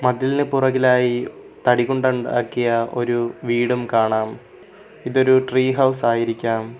മതിലിന് പുറകിലായി തടി കൊണ്ട് ഉണ്ടാക്കിയ ഒരു വീടും കാണാം ഇതൊരു ട്രീ ഹൗസ് ആയിരിക്കാം.